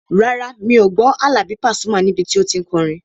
Rárá, mi ò gbọ́ Àlàbí Pasuma níbi tí o tí n kọrin